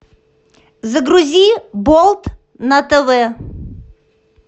загрузи болт на тв